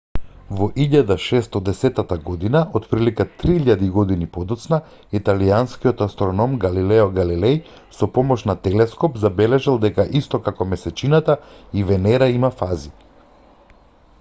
во 1610 година отприлика три илјади години подоцна италијанскиот астроном галилео галилеј со помош на телескоп забележал дека исто како месечината и венера има фази